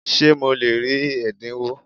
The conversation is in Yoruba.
Ṣé mo lè rí ẹ̀dínwó?